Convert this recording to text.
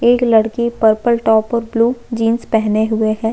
एक लड़की purple top और ब्लू जीन्स पेहने हुए हैं।